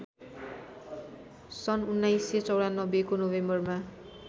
सन् १९९४ को नोभेम्बरमा